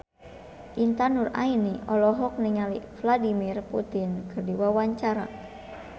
Intan Nuraini olohok ningali Vladimir Putin keur diwawancara